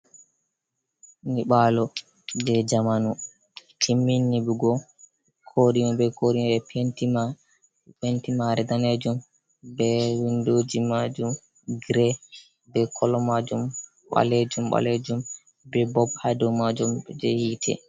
Nyiɓalo je zamanu timmini nyiɓugo koɗime be koɗime ɓe penti penti mare danejum, be windoji majum grin be kolo majum ɓalejum ɓalejum be bob ha dou majum je hitte.